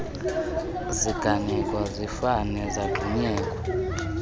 ziganeko zifane zagxunyekwa